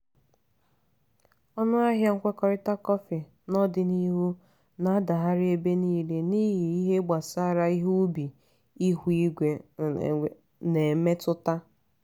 ọnụ ahịa nkwekọrịta kọfị n'ọdịniihu na-adagharị ebe niile n'ihi ihe gbasara ihe ubi ihu igwe na-emetụta.